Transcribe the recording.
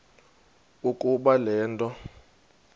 ukuba le nto